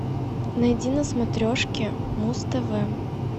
найди на смотрешке муз тв